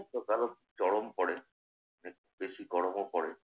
বর্ষাকাল ও চরম পড়ে। বেশি গরমও পড়ে।